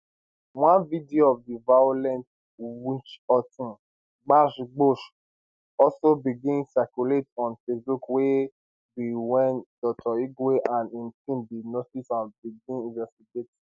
one video of di violent witchhunting gbasgbos also begin circulate on facebook wey be wen dr igwe and im team bin notice and begin investigate